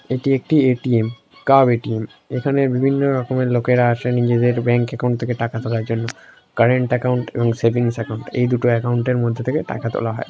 এটি একটি এ.টি.এম কাব এ.টি.এম এখানে বিভিন্ন রকমের লোকেরা আসে নিজেদের ব্যাংক অ্যাকাউন্ট থেকে টাকা তোলার জন্য কারেন্ট অ্যাকাউন্ট এবং সেভিংস অ্যাকাউন্ট এই দুটো অ্যাকাউন্ট - এর মধ্যে থেকে টাকা তোলা হয়।